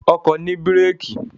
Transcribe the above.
Ọkọ̀ ni bírèèkì.